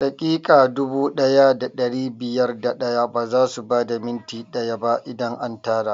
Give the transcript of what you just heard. Daƙiƙa dubu ɗaya da ɗari biyar da ɗaya bazasu bada minti ɗaya ba idan an tara